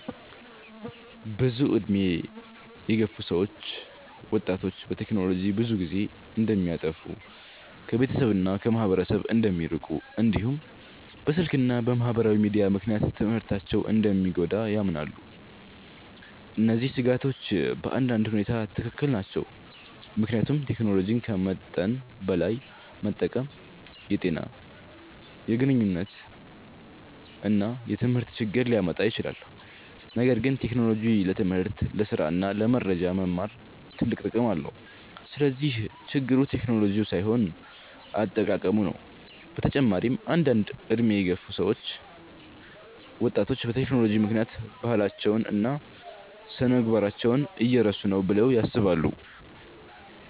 ብዙ ዕድሜ የገፉ ሰዎች ወጣቶች በቴክኖሎጂ ብዙ ጊዜ እንደሚያጠፉ፣ ከቤተሰብ እና ከማህበረሰብ እንደሚርቁ፣ እንዲሁም በስልክ እና በማህበራዊ ሚዲያ ምክንያት ትምህርታቸው እንደሚጎዳ ያምናሉ። እነዚህ ስጋቶች በአንዳንድ ሁኔታ ትክክል ናቸው፣ ምክንያቱም ቴክኖሎጂን ከመጠን በላይ መጠቀም የጤና፣ የግንኙነት እና የትምህርት ችግር ሊያመጣ ይችላል። ነገር ግን ቴክኖሎጂ ለትምህርት፣ ለስራ እና ለመረጃ መማር ትልቅ ጥቅም አለው። ስለዚህ ችግሩ ቴክኖሎጂው ሳይሆን አጠቃቀሙ ነው። በተጨማሪም አንዳንድ ዕድሜ የገፉ ሰዎች ወጣቶች በቴክኖሎጂ ምክንያት ባህላቸውን እና ስነ-ምግባራቸውን እየረሱ ነው ብለው ያስባሉ።